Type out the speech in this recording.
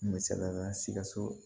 Misaliyala sikaso